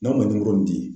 N'a ma nimoro di